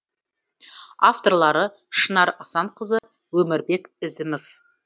авторлары шынар асанқызы өмірбек ізімов